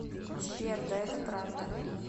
сбер да это правда